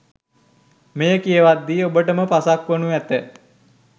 මෙය කියවද්දී ඔබට ම පසක් වනු ඇත.